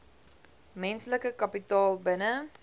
menslike kapitaal binne